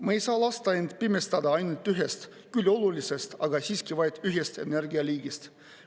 Ma ei saa lasta end pimestada ainult ühest küll olulisest, aga siiski vaid ühest energialiigist.